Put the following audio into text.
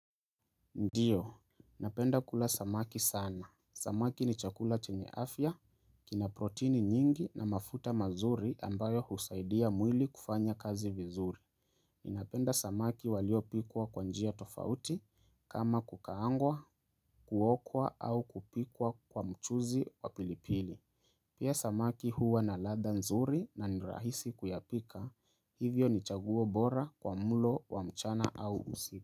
Ndiyo, napenda kula samaki sana. Samaki ni chakula chenye afya, kina protini nyingi na mafuta mazuri ambayo husaidia mwili kufanya kazi vizuri. Napenda samaki walio pikwa kwanjia tofauti kama kukaangwa, kuokwa au kupikwa kwa mchuzi wa pilipili. Pia samaki huwa na ladha nzuri na nirahisi kuyapika, hivyo ni chaguo bora kwa mlo wa mchana au usika.